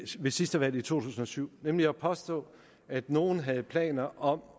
ved sidste valg i to tusind og syv nemlig at påstå at nogen havde planer om